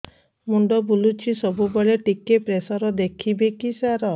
ମୁଣ୍ଡ ବୁଲୁଚି ସବୁବେଳେ ଟିକେ ପ୍ରେସର ଦେଖିବେ କି ସାର